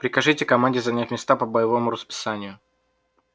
прикажите команде занять места по боевому расписанию